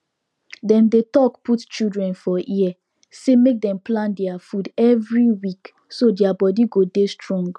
dem dey talk put children for ear say make dem plan deir food every week so deir body go dey strong